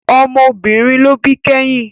Ọmọ obìnrin ló bí kẹ́yìn